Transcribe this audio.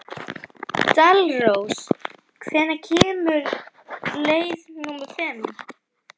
Dalrós, hvenær kemur leið númer fimm?